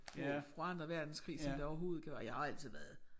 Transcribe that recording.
På på anden verdenskrig som det overhovedet kan jeg har altid været